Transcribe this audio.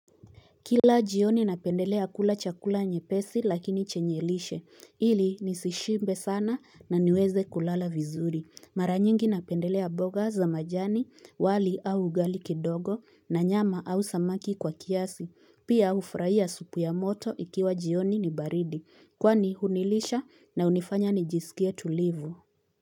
Kila jioni napendelea kula chakula nyepesi lakini chenye lishe, ili nisishibe sana na niweze kulala vizuri. Mara nyingi napendelea mboga za majani, wali au ugali kidogo na nyama au samaki kwa kiasi. Pia hufurahia supu ya moto ikiwa jioni ni baridi. Kwani hunilisha na hunifanya nijisikie tulivu.